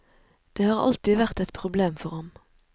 Det har alltid vært et problem for ham.